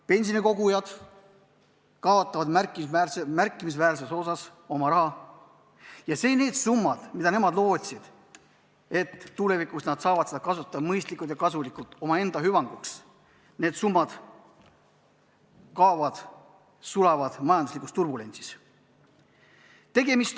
Pensionikogujad kaotavad märkimisväärse osa oma rahast ja summad, mida inimesed lootsid tulevikus kasutada mõistlikult ja kasulikult omaenda hüvanguks, lihtsalt kaovad, sulavad majanduslikus turbulentsis.